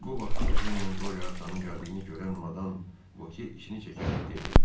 Bu vaxt ejenlə qore atanın gəldiyini görən Madan Voke işini çəkərək dedi.